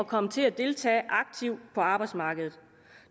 komme til at deltage aktivt på arbejdsmarkedet